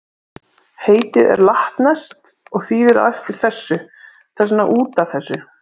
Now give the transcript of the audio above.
Heitið er latneskt og þýðir á eftir þessu, þess vegna út af þessu.